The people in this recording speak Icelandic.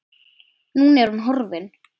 Núna er hún horfin.